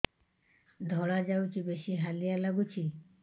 ଧଳା ଯାଉଛି ବେଶି ହାଲିଆ ଲାଗୁଚି